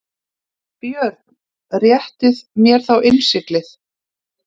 BJÖRN: Réttið mér þá innsiglið.